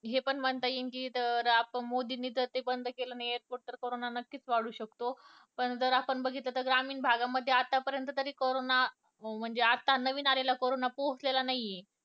हे पण म्हणता येईल कि तर मोदी ते जर बंद नाही केलं नाही airport तर कारोंना नक्कीच वाढू शकतो पण जर आपण बघितलं तर ग्रामीण भागामध्ये आतापर्यंत तरी कारोंना म्हणजे आत्ता नवीन आलेला कारोंना पोहचला नाही ये